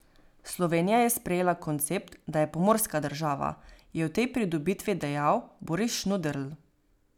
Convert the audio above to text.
Slovenija je sprejela koncept, da je pomorska država, je o tej pridobitvi dejal Boris Šnuderl.